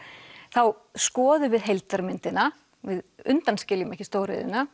þá skoðum við heildarmyndina við undanskiljum ekki stóriðjuna